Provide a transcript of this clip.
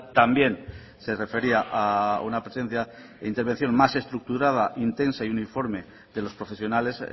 también se refería a una presencia e intervención más estructurada intensa y uniforme de los profesionales